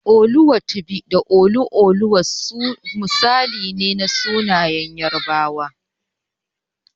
Oluwatobi da Oluoluwa misali ne na sunayen Yarabawa.